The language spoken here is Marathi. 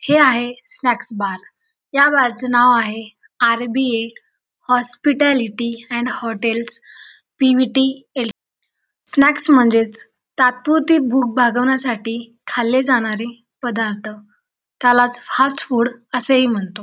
हे आहे स्नॅक्स-बार या बार च नाव आहे आर.बी.ए. हॉस्पिट्यालिटी आणि हॉटेल्स पी.व्ही.टी.एल. स्नॅक्स म्हणजेच तात्पुरती भूक भागवण्यासाठी खाल्ले जाणारे पदार्थ त्यालाच फास्ट फूड असे ही म्हणतो.